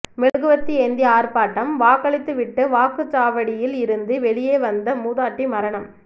மெழுகுவர்த்தி ஏந்தி ஆர்ப்பாட்டம் வாக்களித்து விட்டு வாக்குச்சாவடியில் இருந்து வெளியே வந்த மூதாட்டி மரணம்